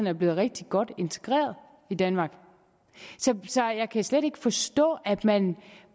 er blevet rigtig godt integreret i danmark så jeg kan slet ikke forstå at man